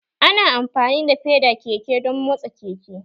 Ana amfani da feda keke don motsa keke